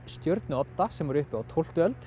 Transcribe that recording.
stjörnu Odda sem var uppi á tólftu öld